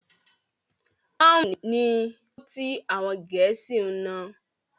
Pọ́ùn ni owó tí àwọn Gẹ̀ẹ́sì ń ná.